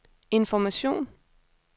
information